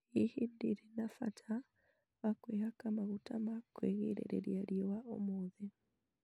Hihi ndĩrĩ na bata wa kwĩhaka maguta ma gwĩgiriria riua ũmũthĩ?